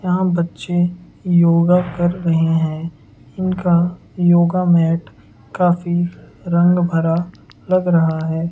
यहां बच्चे योगा कर रहे हैं इनका योगा मैट काफी रंग भरा लग रहा है।